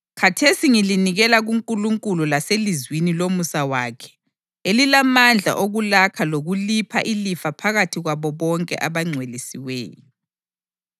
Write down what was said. Khathesi ngilinikela kuNkulunkulu laselizwini lomusa wakhe elilamandla okulakha lokulipha ilifa phakathi kwabo bonke abangcwelisiweyo.